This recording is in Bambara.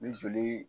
Ni joli